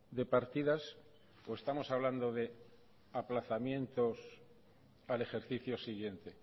de partidas o estamos hablando de aplazamientos al ejercicio siguiente